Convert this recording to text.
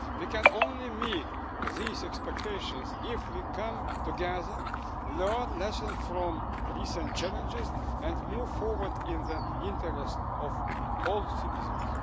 We can only meet these expectations if we come together, learn lessons from recent challenges and move forward in the interests of all citizens.